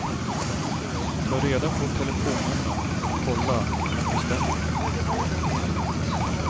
Ta reda på telefonnummer och kolla om det stämmer.